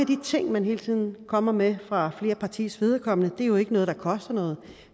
de ting man hele tiden kommer med fra flere partiers vedkommende er jo ikke noget der koster noget